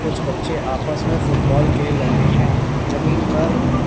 कुछ बच्चे आपस में फुटबॉल खेल रहे है जमीन पर--